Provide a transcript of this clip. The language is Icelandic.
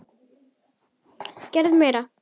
Þau gerðu meira.